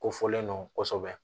Ko fɔlen don kosɛbɛ